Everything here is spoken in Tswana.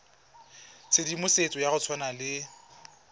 tshedimosetso ya go tshwana le